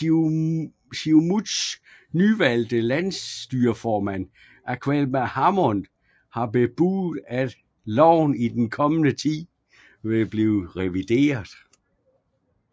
Siumuts nyvalgte landsstyreformand Aleqa Hammond har bebudet at loven i den kommende tid vil blive revideret